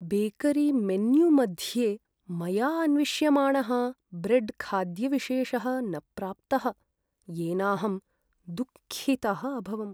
बेकरीमेन्यूमध्ये मया अन्विष्यमाणः ब्रेड्खाद्यविशेषः न प्राप्तः, येनाहं दुःखितः अभवम्।